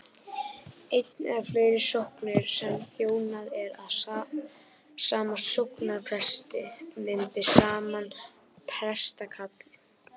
ein eða fleiri sóknir sem þjónað er af sama sóknarpresti mynda saman prestakall